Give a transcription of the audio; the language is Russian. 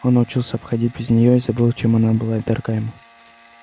он научился обходить без неё и забыл чем она была дорога ему